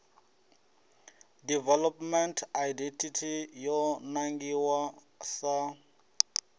development idt yo nangiwa sa